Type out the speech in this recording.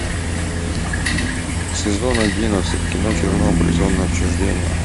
сезон одиннадцать кино чернобыль зона отчуждения